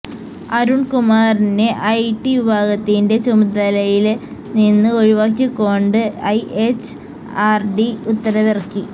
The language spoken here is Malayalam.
അരുണ്കുമാറിനെ ഐ ടി വിഭാഗത്തിന്റെ ചുമതലയില് നിന്ന് ഒഴിവാക്കികൊണ്ട് ഐ എച്ച് ആര് ഡി ഉത്തരവിറക്കി